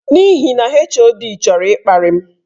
N'ihi na HOD chọrọ ịkparị m.